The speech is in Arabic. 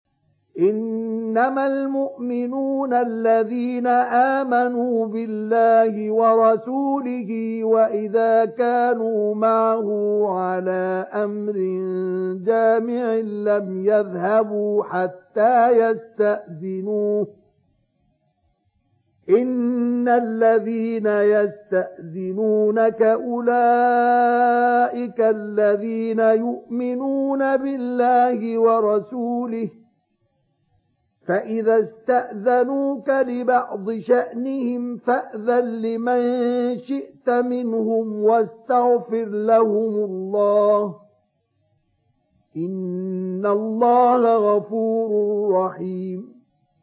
إِنَّمَا الْمُؤْمِنُونَ الَّذِينَ آمَنُوا بِاللَّهِ وَرَسُولِهِ وَإِذَا كَانُوا مَعَهُ عَلَىٰ أَمْرٍ جَامِعٍ لَّمْ يَذْهَبُوا حَتَّىٰ يَسْتَأْذِنُوهُ ۚ إِنَّ الَّذِينَ يَسْتَأْذِنُونَكَ أُولَٰئِكَ الَّذِينَ يُؤْمِنُونَ بِاللَّهِ وَرَسُولِهِ ۚ فَإِذَا اسْتَأْذَنُوكَ لِبَعْضِ شَأْنِهِمْ فَأْذَن لِّمَن شِئْتَ مِنْهُمْ وَاسْتَغْفِرْ لَهُمُ اللَّهَ ۚ إِنَّ اللَّهَ غَفُورٌ رَّحِيمٌ